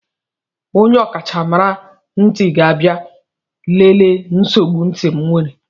Onye ọkachamara ntị ga-abịa lelee nsogbu ntị m were.